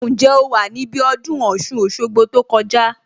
Ǹjẹ́ o wà níbí ọdún Ọ̀ṣun Òṣogbo tó kọjá